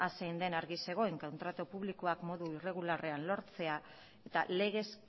zein zen argi zegoen kontratu publikoak modu irregularrean lortzea eta legez